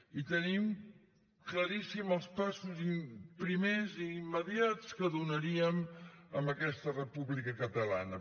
i tenim claríssims els passos primers i immediats que donaríem en aquesta república catalana